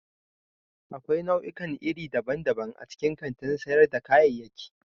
Akwai nau'ikan iri daban-daban a cikin kantin sayar da kayayyaki.